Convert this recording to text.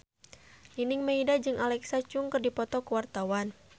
Nining Meida jeung Alexa Chung keur dipoto ku wartawan